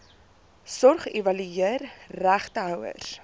sorg evalueer regtehouers